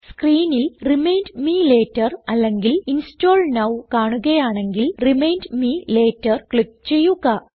സ്ക്രീനിൽ remind me later അല്ലെങ്കിൽ install now കാണുകയാണെങ്കിൽ റിമൈൻഡ് മെ ലേറ്റർ ക്ലിക്ക് ചെയ്യുക